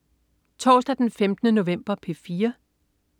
Torsdag den 15. november - P4: